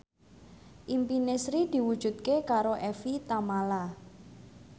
impine Sri diwujudke karo Evie Tamala